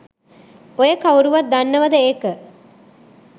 ඔය කවුරුවත් දන්නවද ඒක?